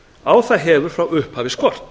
á það hefur frá upphafi skort